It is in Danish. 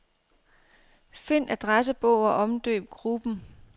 Find adressebog og omdøb gruppen.